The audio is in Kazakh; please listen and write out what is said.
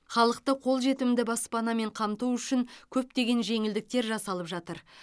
халықты қолжетімді баспанамен қамту үшін көптеген жеңілдіктер жасалып жатыр